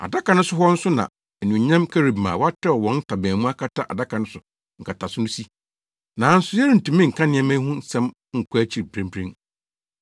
Adaka no so hɔ nso na anuonyam Kerubim a wɔatrɛw wɔn ntaban mu akata adaka no nkataso no so si. Nanso yɛrentumi nka nneɛma yi ho asɛm nkɔ akyiri mprempren.